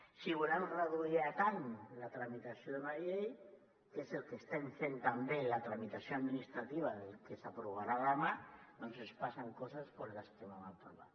si volem reduir a tant la tramitació d’una llei que és el que estem fent també en la tramitació administrativa del que s’aprovarà demà doncs ens passen coses com les que vam aprovar